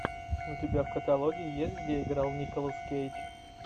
у тебя в каталоге есть где играл николас кейдж